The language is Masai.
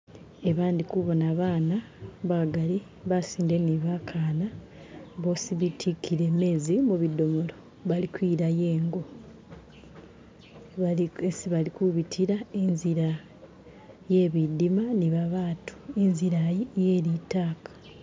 Eba ndi kubona baana bagali basinde ni bakana bwosi bitikile meezi mubudomolo bali kwilayo ingo esi bali kubitila inzila yebidima ni babaatu, inzilayi yelitaka.